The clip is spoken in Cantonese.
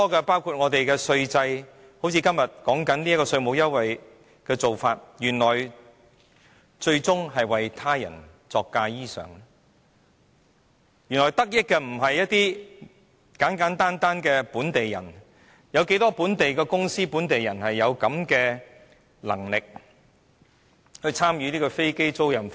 包括我們的稅制，正如今天正在辯論的稅務優惠，原來最終是為他人作嫁衣裳，原來得益的並非簡簡單單的本地人，試問又有多少本地公司和本地人有這樣的能力參與飛機租賃服務？